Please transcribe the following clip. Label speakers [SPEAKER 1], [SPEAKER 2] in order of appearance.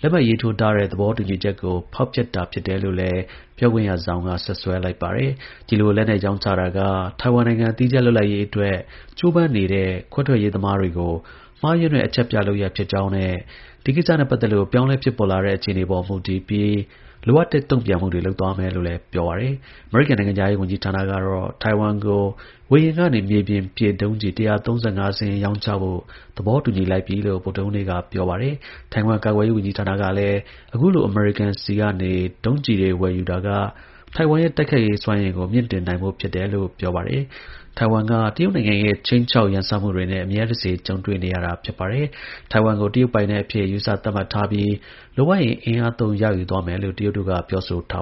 [SPEAKER 1] လက်မှတ်ရေးထိုးထားတဲ့ သဘောတူညီချက်ကို ဖောက်ဖျက်တာလို့လည်း ပြောခွင့်ရ Zhao က စွပ်စွဲလိုက်ပါတယ်။ ဒီလို လက်နက်ရောင်းချတာက ထိုင်ဝမ်နိုင်ငံ သီးခြားလွတ်လပ်ရေးအတွက် ကြိုးပမ်းနေတဲ့ ခွဲထွက်ရေးသမားတွေကို မှားယွင်းတဲ့ အချက်ပြ လုပ်ရပ်ဖြစ်ကြောင်းနဲ့ ဒီကိစ္စနဲ့ ပတ်သက်လို့ ပြောင်းလဲဖြစ်ပေါ်လာတဲ့ အခြေအနေတွေပေါ်မူတည်ပြီး လိုအပ်တဲ့ တုံ့ပြန်မှုတွေလုပ်သွားမယ်လို့လည်း ပြောပါတယ်။ အမေရိကန် နိုင်ငံခြားရေးဌာနကတော့ ထိုင်ဝမ်ကို ဝေဟင်ကနေ မြေပြင်ပစ် ဒုံးကျည် ၁၃၅ စင်းရောင်းချဖို့ သဘောတူညီလိုက် ပြီလို့ ဗုဒ္ဓဟူးနေ့က ပြောပါတယ်။ ထိုင်ဝမ် ကာကွယ်ရေးဝန်ကြီးဌာန ကလည်းအခုလို အမေရိကန်ဆီကနေ ဒီလို ဒုံးကျည်တွေဝယ်ယူတာက ထိုင်ဝမ်ရဲ့ တိုက်ခိုက်ရေးစွမ်းရည်ကို မြှင့်တင်တာဖြစ်တယ်လို့ ပြောပါတယ်။ Taiwan က တရုတ်နိုင်ငံရဲ့ ခြိမ်းခြောက် ကျုးကျော်ရန်စမှုတွေနဲ့ အမြဲတစေ ကြုံတွေ့နေရဝာာပါ။ Taiwan ကို တရုတ်ပိုင်နက် အဖြစ် ယူဆသတ်မှတ်ထားပြီး လိုအပ်ရင် အင်အားသုံး ရယူသွားမယ်လို့ ပြောဆိုထားတာပါ